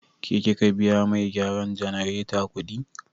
Ke kika biya mai gyaran jannareta kudi?